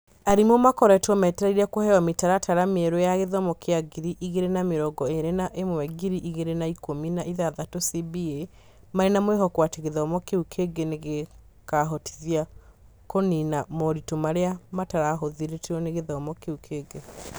Arimũ makoretwo metereire kũheo mĩtaratara mĩerũ ya gĩthomo kĩa ngiri igĩrĩ na mĩrongo ĩrĩ na ĩmwe-ngiri igĩrĩ na ikũmi na ithathatũ CBA marĩ na mwĩhoko atĩ gĩthomo kĩu kĩngĩ nĩ gĩkaahotithia kũniina moritũ marĩa mataahotithirio nĩ gĩthomo kĩu kĩngĩ.